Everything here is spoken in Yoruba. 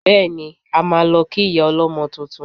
Bẹ́ẹ̀ni, a máa lọ kí ìyá ọlọ́mọ tuntun